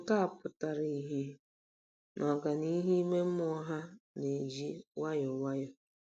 Nke a pụtara ìhè na ọganihu ime mmụọ ha na-eji nwayọọ nwayọọ.